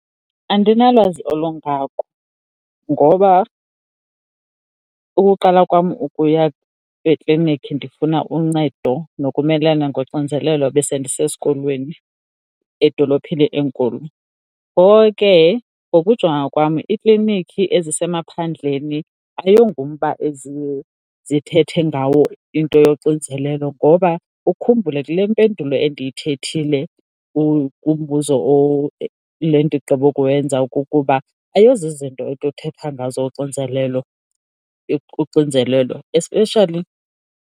Andinalwazi olungako ngoba ukuqala kwam ukuya ekliniki ndifuna uncedo nokumelana ngoxinizelelo besendisesikolweni edolophini enkulu, ngoko ke ngokujonga kwam ikliniki ezisemaphandleni ayingomba eziye zithethe ngawo into yoxinzelelo. Ngoba ukhumbule kule mpendulo endiyithethile kumubuzo le ndigqibo kuwenza kukuba ayizozinto ekuthethwa ngazo uxinzelelo, especially.